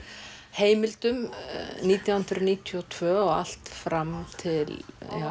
heimildum nítján hundruð níutíu og tvö og allt fram til